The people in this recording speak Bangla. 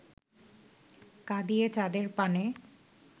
কাঁদিয়ে চাঁদের পানে